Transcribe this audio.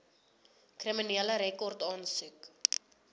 kriminele rekord aansoek